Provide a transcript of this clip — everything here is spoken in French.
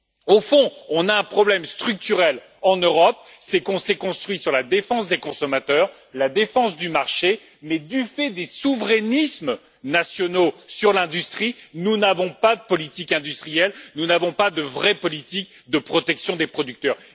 Au fond, on a un problème structurel en Europe, c'est qu'on s'est construit sur la défense des consommateurs, la défense du marché, mais du fait des souverainismes nationaux sur l'industrie, nous n'avons pas de politique industrielle, nous n'avons pas de vraie politique de protection des producteurs.